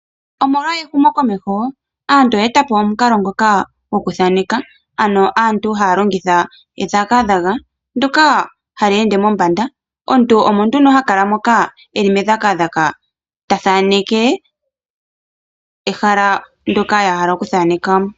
Omolwa ehumokomeho aantu oye etapo omukalo ngoka gwokuthaaneka, ano aantu ha ya longitha edhagadhaga ndyoka ha li ende mombada. Omuthaneki oha londo medhagadhaga ee ta thaaneke ehala ndyoka a hala oku thaaneka eli pombada.